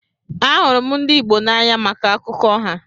Ahụrụ m ndị Igbo n'anya maka akụkọ ha.